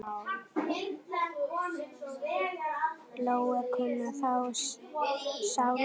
Lóa: Kunnið þið sjálfir táknmál?